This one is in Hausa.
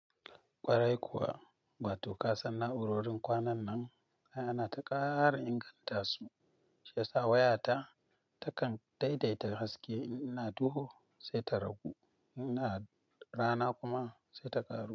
Kwarai kuwa, wato ka san na'urorin kwanan nan ana taƙara inganta su, shi yasa wayata takan daidaita haske in ina duhu sai ta ragu, inna rana kuma sai ta ƙaru.